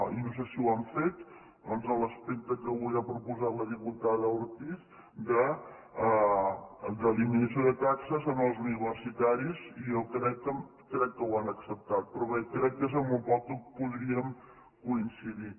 i no sé si ho han fet doncs l’aspecte que avui ha proposat la diputada ortiz d’eliminació de taxes als universitaris i jo crec que ho han acceptat però bé crec que és en el poc que podríem coincidir